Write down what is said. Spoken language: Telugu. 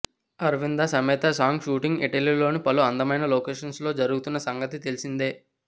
అరవింద సమేత సాంగ్ షూటింగ్ ఇటలీలోని పలు అందమైన లొకేషన్స్ లో జరుగుతున్న సంగతి తెలిసిందే